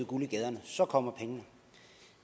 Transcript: guld i gaderne og så kommer pengene